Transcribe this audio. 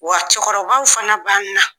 Wa cɛkɔrɔbaw fana b'an na.